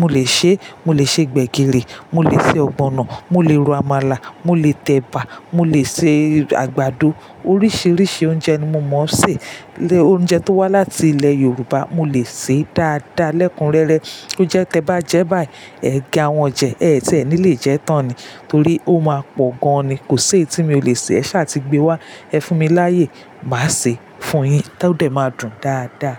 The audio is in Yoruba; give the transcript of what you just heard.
mo lè ṣe, mo lè ṣe gbẹ̀gìrì, mo lè ṣe ọ̀gbọ̀nọ̀, mo lè ro àmàlà, mo lè tẹ̀bà, mo lè ṣe àgbàdo. Oríṣiríṣi oúnjẹ ni mo mọ sè. Ilé oúnjẹ tó wá láti ilẹ̀ Yorùbá mo lè sè é dáadáa lẹ́kunrẹ́rẹ́. Ó jẹ́ tí ẹ bá jẹ́ báyìí, ẹ gé àwọn jẹ, ẹtì ẹ ní lè jẹ́ tán ni torí ó máa pọ̀ gan ni. Kò sí èyí tí mi ò lè sè. Ẹ ṣa ti gbé wá, ẹ fún mi láyè, màá ṣe é fún yín, tó dè máa dùn dáadáa.